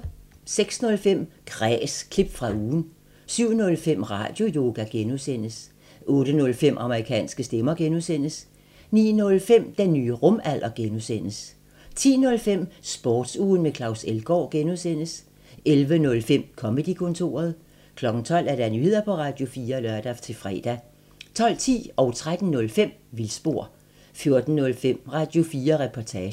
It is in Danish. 06:05: Kræs – klip fra ugen 07:05: Radioyoga (G) 08:05: Amerikanske stemmer (G) 09:05: Den nye rumalder (G) 10:05: Sportsugen med Claus Elgaard (G) 11:05: Comedy-kontoret 12:00: Nyheder på Radio4 (lør-fre) 12:10: Vildspor 13:05: Vildspor 14:05: Radio4 Reportage